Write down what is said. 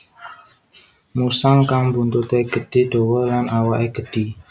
Musang kang buntute gedhi dawa lan awake gedhi